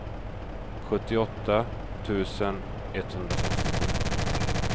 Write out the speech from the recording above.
sjuttioåtta tusen etthundrasextiosju